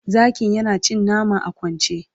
zakin yana cin nama a kwance